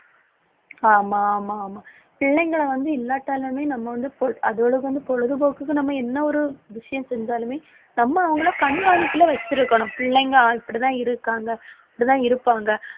ஆமா ஆமா ஆமா பிள்ளைங்களை வந்து இல்லாட்டாலுமே நம்ம வந்து பொ~ அதோட வந்து பொழுதுபோக்குக்கு நம்ம என்ன ஒரு விஷயம் செஞ்சாலுமே நம்ம அவங்களை கண்காணிப்புல வச்சிருக்கணும். பிள்ளைங்க அப்படிதான் இருக்காங்க அப்படித்தான் இருப்பாங்க.